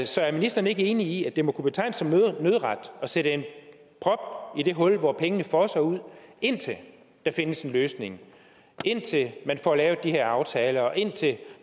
så er ministeren ikke enig i at det må kunne betegnes som nødret at sætte en prop i det hul hvor pengene fosser ud indtil der findes en løsning indtil man får lavet de her aftaler og indtil